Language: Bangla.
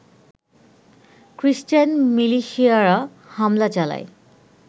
খ্রিষ্টান মিলিশিয়ারা হামলা চালায়